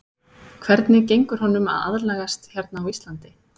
Hvernig gengur honum að aðlagast hérna á Íslandi?